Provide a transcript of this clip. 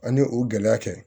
Ani o gɛlɛya tɛ